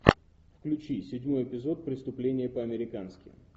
включи седьмой эпизод преступление по американски